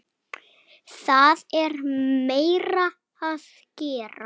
Það er meira að gera.